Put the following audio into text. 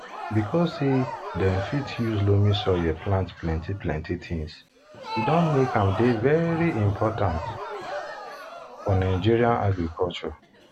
because say dem fit use loamy soil plant plenty plenty things e don make am dey very important dey very important for nigerian agriculture